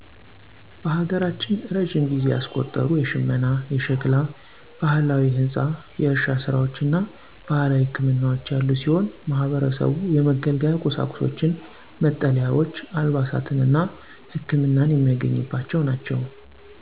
በሀገራችን እረጅም ጊዜ ያስቆጠሩ የሽመና፣ የሸክላ፣ ባህላዊ ህንፃ፣ የእርሻ ስራዎች እና ባህላዊ ህክምናዎች ያሉ ሲሆን ማህበረሰቡ የመገልገያ ቁሳቁሶችን፣ መጠለያዎች፣ አልባሳትን እና ህክመናን የሚያገኝባቸው ናቸው።